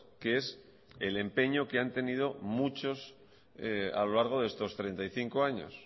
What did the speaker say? que es el empeño que han tenido muchos a lo largo de estos treinta y cinco años